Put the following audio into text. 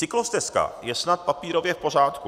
Cyklostezka je snad papírově v pořádku.